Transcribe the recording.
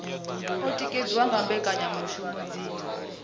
o tikedziwa nga mbekanyamushumo dzi